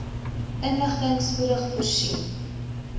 inligting spoedig voorsien